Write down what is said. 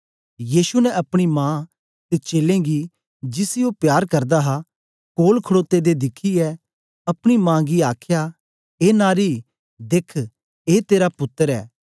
यीशु ने अपनी मा ते चेलें गी जिसी ओ प्यार करदा हा कोल खडोते दे दिखियै अपनी मा गी आखया ए नारी देख ए तेरा पुत्तर ऐ